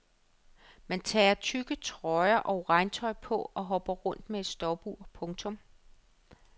Man tager tykke trøjer og regntøj på og hopper rundt med et stopur. punktum